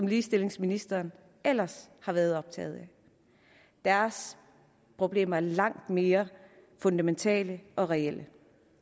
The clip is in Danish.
ligestillingsministeren ellers har været optaget af deres problemer er langt mere fundamentale og reelle